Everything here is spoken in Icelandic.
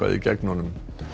gegn honum